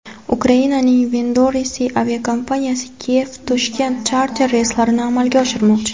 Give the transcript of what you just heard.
Ukrainaning Windrose aviakompaniyasi Kiyev–Toshkent charter reyslarini amalga oshirmoqchi.